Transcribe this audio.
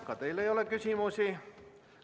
Ka teile ei ole küsimusi.